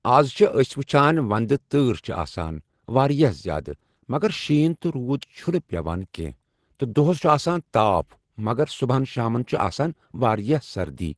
از چھِ أسۍ وٕچھان ونٛدٕ تۭٕر چھِ آسان واریاہ زیادٕ مگر شیٖن تہٕ روٗد چھُنہٕ زیادٕ پٮ۪وان کینٛہہ تہٕ دۄہس چھُ آسان تاپھ مگر صُبحن شامن چھِ آسان واریاہ سردی۔